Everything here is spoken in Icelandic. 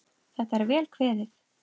Þetta er vel kveðið.